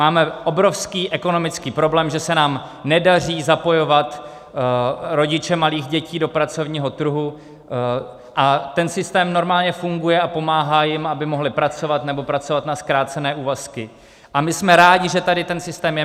Máme obrovský ekonomický problém, že se nám nedaří zapojovat rodiče malých dětí do pracovního trhu, a ten systém normálně funguje a pomáhá jim, aby mohli pracovat nebo pracovat na zkrácené úvazky, a my jsme rádi, že tady ten systém je.